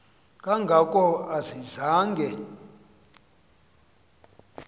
kanga ko ayizange